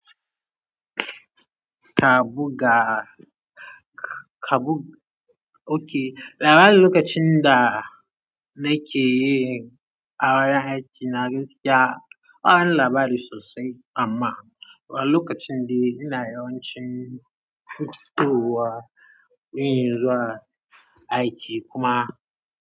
Ka buga, ka buga. Okay, labarin lokacin da na ke yin a wurin aiki na gaskiya, bawani labari sosai amma lokacin dai ina yawancin fitowa yin zuwa aiki kuma.